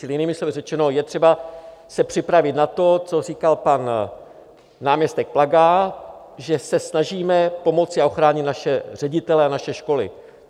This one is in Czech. Čili jinými slovy řečeno, je třeba se připravit na to, co říkal pan náměstek Plaga, že se snažíme pomoci a ochránit naše ředitele a naše školy.